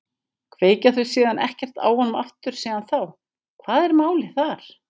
Kveikja þau síðan ekkert á honum aftur síðan þá, hvað var málið þar?